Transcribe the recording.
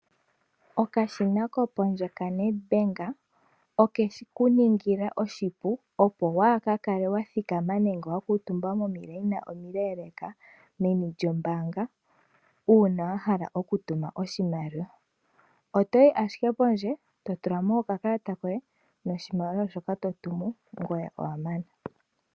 Okashina kopondje ka NedBank oke ku ningila oshipu opo waaka kale wa thikama nenge wa kuutumba momikweyo omile meni lyombaanga. Uuna wa hala oku tuma oshimaliwa otoyi ashike pokashina pondje eto tula mo oka kalata koye yoshimaliwa shoka totumu.